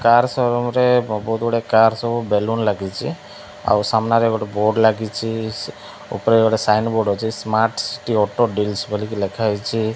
Car ସୋରୁମରେ ବହୁତ ଗୁଡିଏ କାର ସବୁ ବେଲୁନ ଲାଗିଛି ଆଉ ସାମ୍ନାରେ ଗୋଟିଏ ବୋର୍ଡ ଲାଗିଛି ଉପରେ ଗୋଟିଏ ସାଇନ ବୋର୍ଡ ଅଛି ସ୍ମାର୍ଟ ସିଟି ଅଟୋ ଡିଳସ୍ ବଲିକି ଲେଖାହେଇଛି।